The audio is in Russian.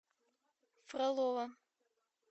фролово